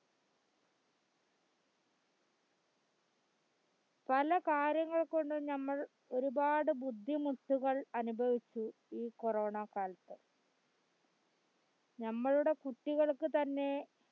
പലകാര്യങ്ങൾകൊണ്ട് ഞമ്മൾ ഒരുപാട് ബുദ്ധിമുട്ടുകൾ അനുഭവിച്ചു ഈ corona കാലത്ത് നമ്മളുടെ കുട്ടികൾക്കുതന്നെ